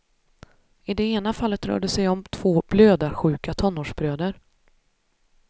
I det ena fallet rör det sig om två blödarsjuka tonårsbröder.